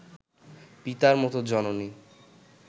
পিতার মতো জননী